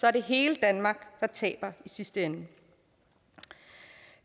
er det hele danmark der taber i sidste ende